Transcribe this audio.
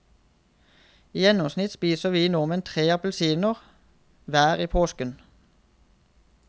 I gjennomsnitt spiser vi nordmenn tre appelsiner hver i påsken.